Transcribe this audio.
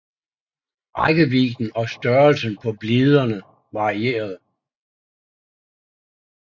Rækkevidden og størrelsen på bliderne varierede